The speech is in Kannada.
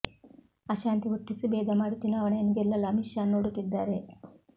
ಅಶಾಂತಿ ಹುಟ್ಟಿಸಿ ಭೇದ ಮಾಡಿ ಚುನಾವಣೆಯನ್ನು ಗೆಲ್ಲಲು ಅಮಿತ್ ಷಾ ನೋಡುತ್ತಿದ್ದಾರೆ